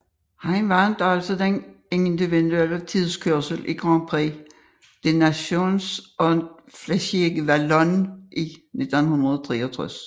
Han vandt også den individuelle tidskørsel i Grand Prix des Nations og Flèche Wallonne i 1963